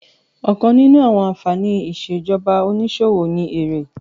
Ọ̀kan nínú àwọn ànfàní ìṣèjọba onísòwò ni èrè